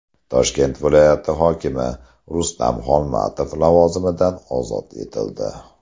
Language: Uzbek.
Toshkent viloyati hokimi Rustam Xolmatov lavozimidan ozod etildi.